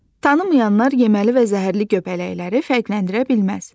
Tanımayanlar yeməli və zəhərli göbələkləri fərqləndirə bilməz.